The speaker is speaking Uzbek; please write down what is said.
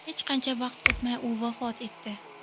Hech qancha vaqt o‘tmay u vafot etdi.